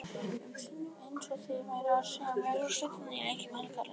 um sinnum eins og þeir væru að segja mér úrslitin í leikjum helgarinnar.